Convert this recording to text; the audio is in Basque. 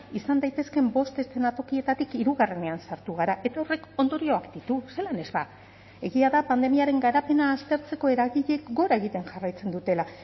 izan daitezkeen bost eskenatokietatik hirugarrenean sartu gara eta horrek ondorioak ditu zelan ez ba egia da pandemiaren garapena aztertzeko eragileek gora egiten jarraitzen dutela